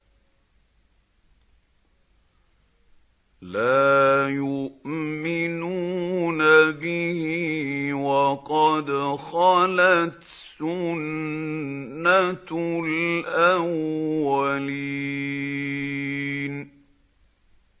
لَا يُؤْمِنُونَ بِهِ ۖ وَقَدْ خَلَتْ سُنَّةُ الْأَوَّلِينَ